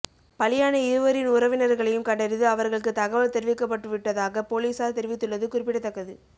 பலியான இருவரின் உறவினர்களையும் கண்டறிந்து அவர்களுக்கு தகவல் தெரிவிக்கப்பட்டுவிட்டதாக பொலிசார் தெரிவித்துள்ளது குறிப்பிடத்தக்கது